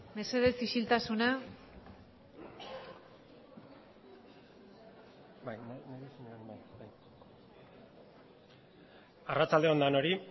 mesedez isiltasuna arratsalde on denoi